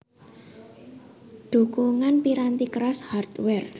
Dhukungan piranti keras Hardware